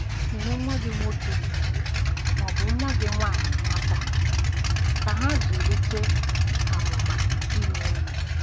Nyere nwa gị nwoke ma ọ bụ nwa gị nwanyị aka ka ha zụlite ' amụma inwe enyi. '